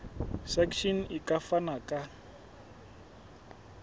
section e ka fana ka